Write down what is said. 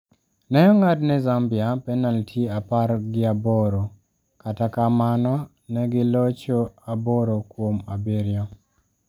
Ne ong'ad ne Zambia penalti apar ga aboro, kata kamano ne gi locho aboro kuom abiryo.